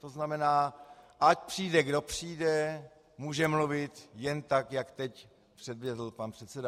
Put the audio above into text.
To znamená, ať přijde, kdo přijde, může mluvit jen tak, jak teď předvedl pan předseda.